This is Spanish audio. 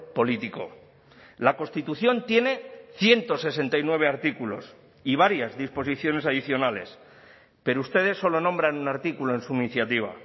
político la constitución tiene ciento sesenta y nueve artículos y varias disposiciones adicionales pero ustedes solo nombran un artículo en su iniciativa